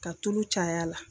Ka tulu cay'a la.